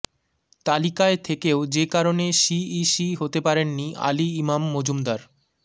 তালিকায় থেকেও যে কারণে সিইসি হতে পারেননি আলী ইমাম মজুমদার